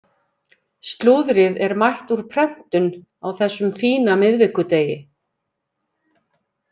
Slúðrið er mætt úr prentun á þessum fína miðvikudegi.